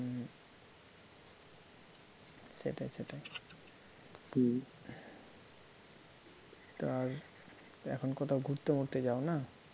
সেটাই সেটাই হম তা আর এখন কোথায় ঘুরতে ফুরতে যাও না?